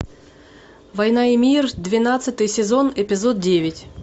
война и мир двенадцатый сезон эпизод девять